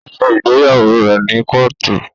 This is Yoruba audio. O ṣe ìgbéyàwó rẹ ni Kóòtù